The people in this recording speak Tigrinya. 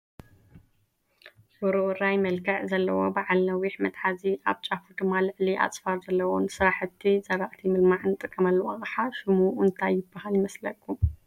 ውርውራይ መልክዕ ዘለዎ ባዓል ነዊሕ መትሓዚ፣ ኣብ ጫፉ ድማ ልዕሊ ኣፅፋር ዘለዎ ንስራሕቲ ዝራእቲ ምልማዕ እንጥቀመሉ ኣቕሓ ሽሙ እንታይ ይባሃል ይመስለኩም?